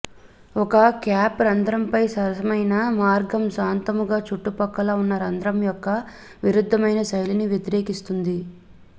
ఒక కేప్ రంధ్రంపై సరసమైన మార్గం శాంతముగా చుట్టుపక్కల ఉన్న రంధ్రం యొక్క విరుద్ధమైన శైలిని వ్యతిరేకిస్తుంది